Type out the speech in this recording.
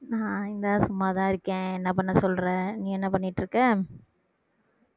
நான் இந்தா சும்மாதான் இருக்கேன் என்ன பண்ண சொல்ற நீ என்ன பண்ணிட்டுருக்க